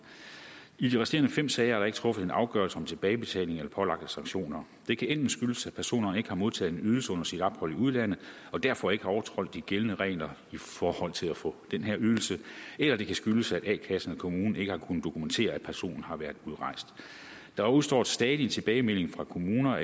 i de resterende fem sager er der ikke truffet afgørelse om tilbagebetaling eller pålagte sanktioner det kan enten skyldes at personen ikke har modtaget en ydelse under sit ophold i udlandet og derfor ikke har overtrådt de gældende regler i forhold til at få den her ydelse eller det kan skyldes at a kassen eller kommunen ikke har kunnet dokumentere at personen har været udrejst der udestår stadig tilbagemelding fra kommuner